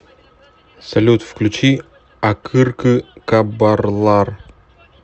салют включи акыркы кабарлар